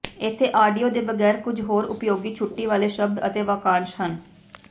ਇੱਥੇ ਆਡੀਓ ਦੇ ਬਗੈਰ ਕੁਝ ਹੋਰ ਉਪਯੋਗੀ ਛੁੱਟੀ ਵਾਲੇ ਸ਼ਬਦ ਅਤੇ ਵਾਕਾਂਸ਼ ਹਨ